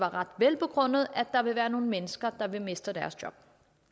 ret velbegrundet at der vil være nogle mennesker der vil miste deres job